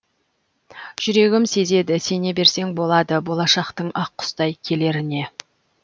жүрегім сезеді сене берсең болады болашақтың ақ құстай келеріне